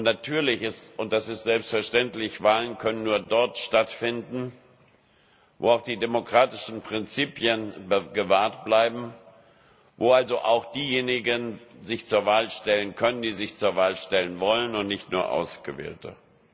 Natürlich ist und das ist selbstverständlich Wahlen können nur dort stattfinden, wo auch die demokratischen Prinzipien gewahrt bleiben, wo sich also auch diejenigen zur Wahl stellen können, die sich zur Wahl stellen wollen, und nicht nur Ausgewählte.